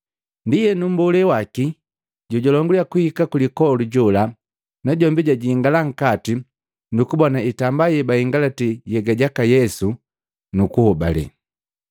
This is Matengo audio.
Ndienu mmbolee waki jojalonguliya kuhika kulipoli jola najombi jajingala nkati nukubona itamba ye bahingalati nhyega jaka Yesu, nukuhobale.